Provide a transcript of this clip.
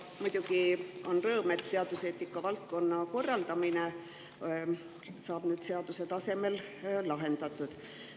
Muidugi on rõõm, et teaduseetika valdkonna korraldamine saab seaduse tasemel lahendatud.